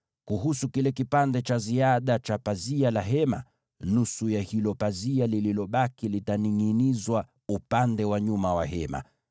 Kuhusu kile kipande cha ziada cha pazia la Hema, nusu ya hilo pazia lililobaki litaningʼinizwa upande wa nyuma wa Hema.